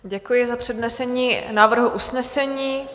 Děkuji za přednesení návrhu usnesení.